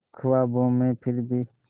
ख्वाबों में फिर भी